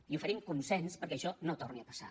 i oferim consens perquè això no torni a passar